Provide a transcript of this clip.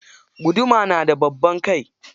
Guduma na da babban kai.